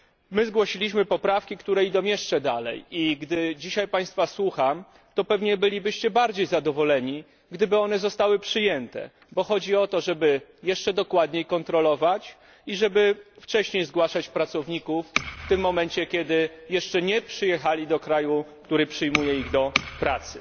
My zgłosiliśmy poprawki, które idą jeszcze dalej, i gdy dzisiaj Państwa słucham, to pewnie bylibyście bardziej zadowoleni, gdyby zostały one przyjęte, bo chodzi o to, żeby jeszcze dokładniej kontrolować i żeby wcześniej zgłaszać pracowników w tym momencie, kiedy jeszcze nie przyjechali do kraju, który przyjmuje ich do pracy.